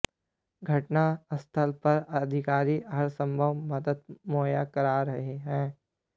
घटनास्थल पर अधिकारी हरसंभव मदद मुहैया करा रहे हैं